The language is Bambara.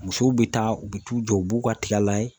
Musow bɛ taa u bɛ t'u jɔ u b'u ka tiga layɛ